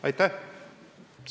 Aitäh!